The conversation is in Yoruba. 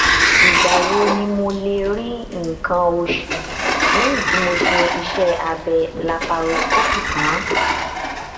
108